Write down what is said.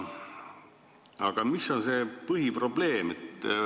Aga mis on põhiprobleem?